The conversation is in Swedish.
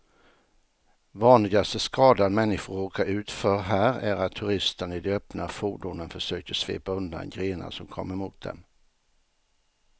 Vanligaste skadan människor råkar ut för här är att turisterna i de öppna fordonen försöker svepa undan grenar som kommer mot dem.